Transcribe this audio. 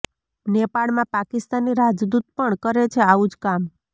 નેપાળમાં પાકિસ્તાની રાજદૂત પણ કરે છે આવું જ કામ